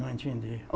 Não entendi.